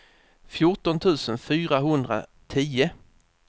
fjorton tusen fyrahundratio